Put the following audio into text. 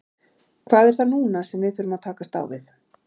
Hvað er það núna sem við þurfum að takast á við?